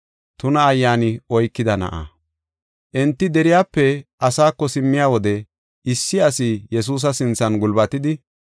Enti deriyape asaako simmiya wode issi asi Yesuusa sinthan gulbatidi,